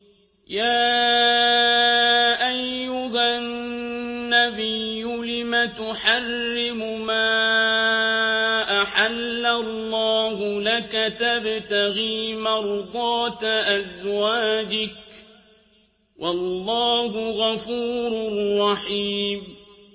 يَا أَيُّهَا النَّبِيُّ لِمَ تُحَرِّمُ مَا أَحَلَّ اللَّهُ لَكَ ۖ تَبْتَغِي مَرْضَاتَ أَزْوَاجِكَ ۚ وَاللَّهُ غَفُورٌ رَّحِيمٌ